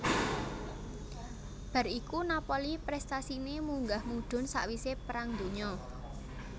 Bar iku Napoli prestasine munggah mudhun sakwise Perang Donya